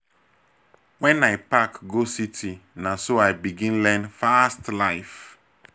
wen i pack go city na so i begin learn fast life.